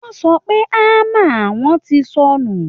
wọ́n sọ pé hammer àwọn ti sọnù